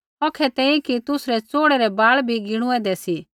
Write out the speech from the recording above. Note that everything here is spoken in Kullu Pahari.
औखै तैंईंयैं कि तुसरै च़ोह्ढ़ै रै बाल़ बी गिणुऐ दै सी